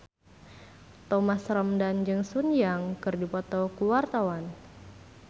Thomas Ramdhan jeung Sun Yang keur dipoto ku wartawan